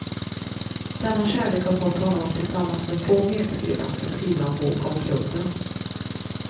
Denna kärlek har fått honom att tillsammans med två medskribenter skriva en bok om klubben.